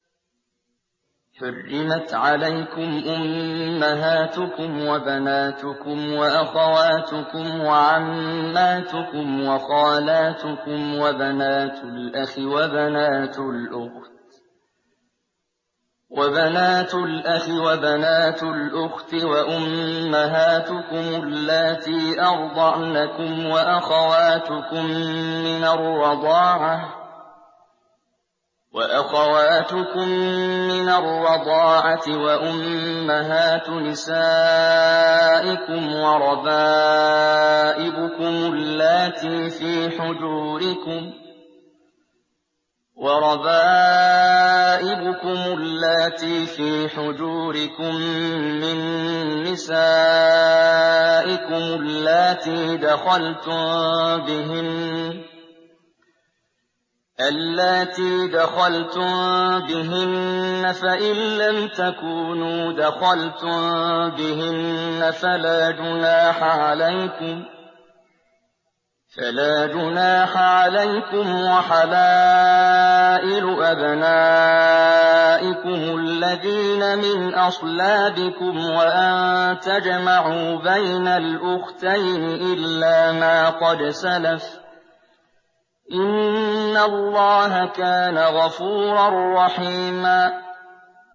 حُرِّمَتْ عَلَيْكُمْ أُمَّهَاتُكُمْ وَبَنَاتُكُمْ وَأَخَوَاتُكُمْ وَعَمَّاتُكُمْ وَخَالَاتُكُمْ وَبَنَاتُ الْأَخِ وَبَنَاتُ الْأُخْتِ وَأُمَّهَاتُكُمُ اللَّاتِي أَرْضَعْنَكُمْ وَأَخَوَاتُكُم مِّنَ الرَّضَاعَةِ وَأُمَّهَاتُ نِسَائِكُمْ وَرَبَائِبُكُمُ اللَّاتِي فِي حُجُورِكُم مِّن نِّسَائِكُمُ اللَّاتِي دَخَلْتُم بِهِنَّ فَإِن لَّمْ تَكُونُوا دَخَلْتُم بِهِنَّ فَلَا جُنَاحَ عَلَيْكُمْ وَحَلَائِلُ أَبْنَائِكُمُ الَّذِينَ مِنْ أَصْلَابِكُمْ وَأَن تَجْمَعُوا بَيْنَ الْأُخْتَيْنِ إِلَّا مَا قَدْ سَلَفَ ۗ إِنَّ اللَّهَ كَانَ غَفُورًا رَّحِيمًا